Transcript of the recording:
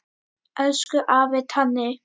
Elsku afi Tani.